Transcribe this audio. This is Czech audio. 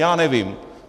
Já nevím.